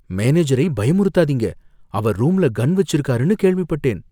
மேனேஜரை பயமுறுத்தாதீங்க, அவர் ரூம்ல கன் வெச்சிருக்காருன்னு கேள்விப்பட்டேன்.